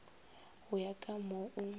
go ya ka moo o